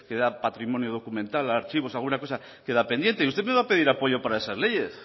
tiene patrimonio documental archivos alguna cosa queda pendiente y usted me va a pedir apoyo para esas leyes